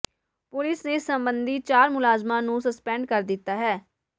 police ਨੇ ਇਸ ਸਬੰਧੀ ਚਾਰ ਮੁਲਾਜ਼ਮਾਂ ਨੂੰ ਸਸਪੈਂਡ ਕਰ ਦਿੱਤਾ ਹੈ